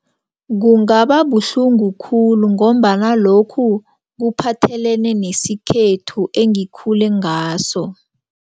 Kungababuhlungu khulu ngombana lokhu kuphathelene nesikhethu engikhule ngaso.